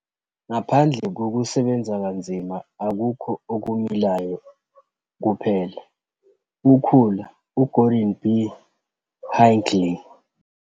Ngaphandle kokusebenza kanzima akukho okumilayo kuphela ukhula, u-Gordon B. Hinckley.